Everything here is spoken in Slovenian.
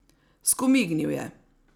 Skomignil je.